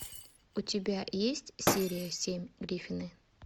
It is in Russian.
у тебя есть серия семь гриффины